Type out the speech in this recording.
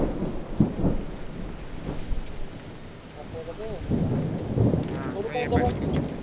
असं का ते? हां हो.